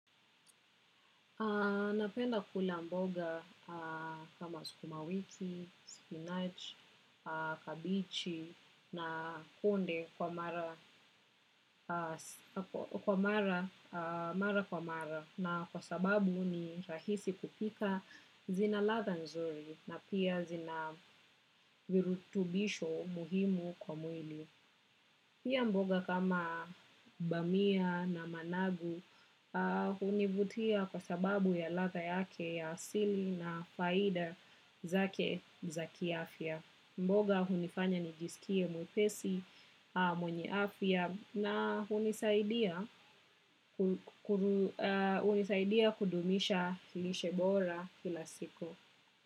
Napenda kula mboga kama sukumawiki, spinach, kabichi na kunde mara kwa mara na kwa sababu ni rahisi kupika zina ladha nzuri na pia zina virutubisho muhimu kwa mwili. Pia mboga kama bamia na managu hunivutia kwa sababu ya ladha yake ya asili na faida zake za kiafya. Mboga hunifanya nijisikie mwepesi mwenye afya na hunisaidia kudumisha lishe bora kila siku.